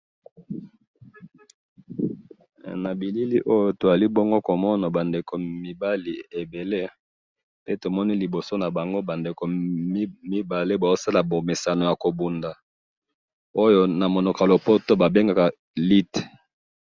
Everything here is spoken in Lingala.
Na bilili oyo tozali bongo komona bandeko yamibali ebele, pe tomoni liboso nabango bandeko mibale bazosala bomesano yakobunda, oyo namunoko yalopoto babengaka lute